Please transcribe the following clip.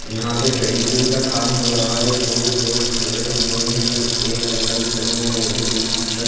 यहां पे पेंटिंग का काम हो रहा है दो लोग खड़े हुए है एक अंकल खड़े हुए है जिनकी शर्ट --